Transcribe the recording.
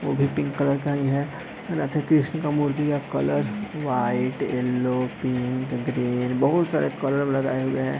उ भी pink colour का ही है राधे-कृष्ण का मूर्ति का colour white yellow pink green बहुत सारे कलर लगाए हुए हैं |